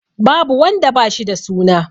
Babu wanda da ba shi da suna.